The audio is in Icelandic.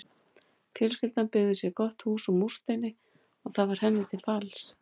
Fjölskyldan byggði sér gott hús úr múrsteini og það varð henni til falls.